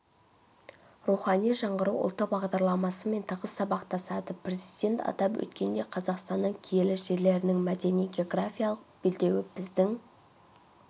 рухани жаңғыру ұлттық бағдарламасымен тығыз сабақтасады президент атап өткендей қазақстанның киелі жерлерінің мәдени-географиялық белдеуі біздің